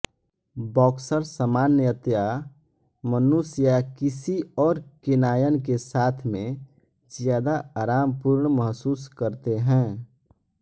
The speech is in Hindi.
बॉक्सर सामान्यतया मनुष्य या किसी और केनायन के साथ में ज्यादा आरामपूर्ण महसूस करते हैं